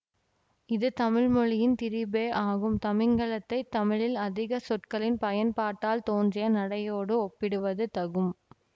இது தமிழ் மொழியின் திரிபே ஆகும் தமிங்கிலத்தை தமிழில் அதிக சொற்களின் பயன்பாட்டால் தோன்றிய நடையோடு ஒப்பிடுவது தகும்